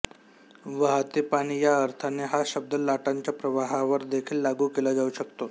वाहते पाणी या अर्थाने हा शब्द लाटांच्या प्रवाहावर देखील लागू केला जाऊ शकतो